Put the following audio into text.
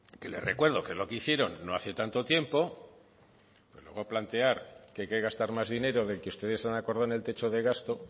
que le recuerdo que es lo que hicieron no hacen tanto tiempo para luego plantear que hay que gastar más dinero del que ustedes han acordado en el techo de gasto